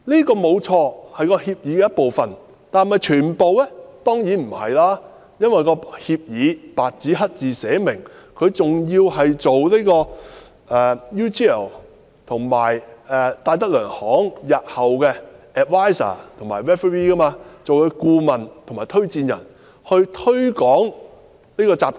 當然不是了。因為，該協議白紙黑字寫明，他是需要擔任 UGL 和戴德梁行日後的顧問和推薦人，並推廣這個集團。